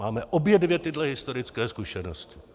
Máme obě dvě tyto historické zkušenosti.